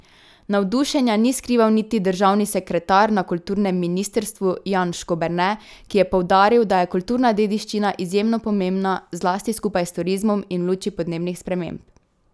Navdušenja ni skrival niti državni sekretar na kulturnem ministrstvu Jan Škoberne, ki je poudaril, da je kulturna dediščina izjemno pomembna, zlasti skupaj s turizmom in v luči podnebnih sprememb.